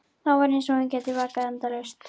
Þá var eins og hann gæti vakað endalaust.